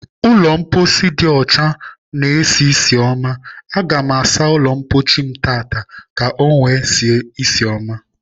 Ụlọ mposi dị ọchana-esi ísì ọma. Aga m asa ụlọ mposi m taa ka ọ nwee isi ọma.